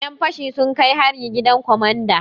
Yan fashi sun kai hari gidan komanda.